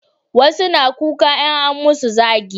wasu na kuka in an musu zagi